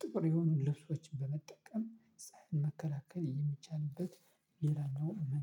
ጥቁር የሆኑን ልብሶችን በመጠቀም ፀሀይ መከላከል የሚቻልበት ሌላኛው መን